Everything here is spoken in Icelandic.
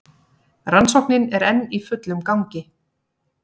Rannsóknin enn í fullum gangi